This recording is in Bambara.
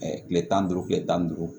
kile tan ni duuru kile tan ni duuru